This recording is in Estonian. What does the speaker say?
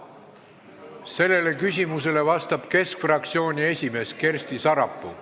Sellele küsimusele vastab Keskerakonna fraktsiooni esimees Kersti Sarapuu.